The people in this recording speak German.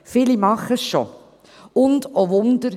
Viele tun das bereits, und – oh Wunder!